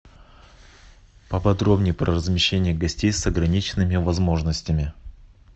поподробнее про размещение гостей с ограниченными возможностями